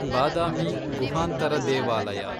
ಬಾದಾಮಿ ಗುಹಾಂತರ ದೇವಾಲಯ